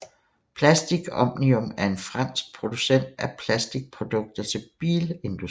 Plastic Omnium er en fransk producent af plastikprodukter til bilindustrien